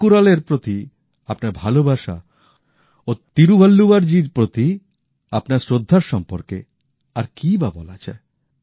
তিরুক্কুরল এর প্রতি আপনার ভালবাসা ও তিরুবল্লুবরজীর প্রতি আপনার শ্রদ্ধার সম্পর্কে আর কি ই বা বলা যায়